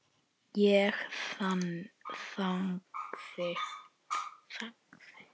Ég þagði.